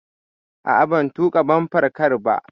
A'a, ban tuƙa bumper car ba.